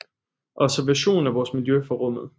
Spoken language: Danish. Observation af vores miljø fra rummet